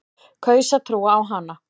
Kaus að trúa á hana.